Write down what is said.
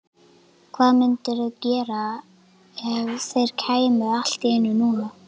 Hvað mundirðu gera ef þeir kæmu allt í einu núna?